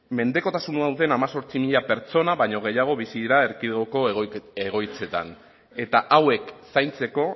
mendekotasun hau den hemezortzi mila pertsona baino gehiago bizi dira erkidegoko egoitzetan eta hauek zaintzeko